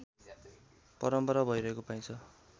परम्परा भइरहेको पाइन्छ